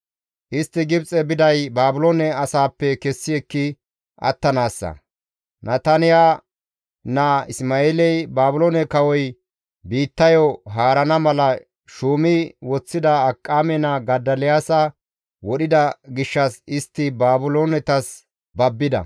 istti Gibxe biday Baabiloone asaappe kessi ekki attanaassa; Nataniya naa Isma7eeley Baabiloone kawoy biittayo haarana mala shuumi woththida Akiqaame naa Godoliyaasa wodhida gishshas istti Baabiloonetas babbida.